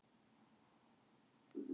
Frábært lið og stórkostlegur leikmaður!